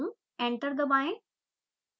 enter दबाएं